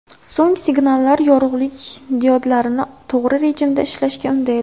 So‘ng signallar yorug‘lik diodlarini to‘g‘ri rejimda ishlashga undaydi.